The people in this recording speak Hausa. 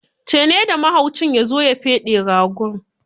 Ce ne da mahaucin ya zo ya feɗe ragon.